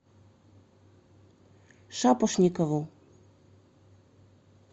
шапошникову